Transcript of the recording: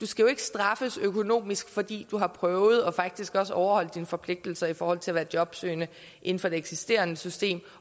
skal straffes økonomisk fordi du har prøvet og faktisk også har overholdt dine forpligtelser i forhold til at være jobsøgende inden for det eksisterende system